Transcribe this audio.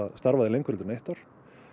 starfað lengur en eitt ár